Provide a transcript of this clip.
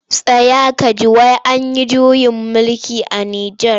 Tsaya ka ji! wai an yi juyin mulki a Nijar.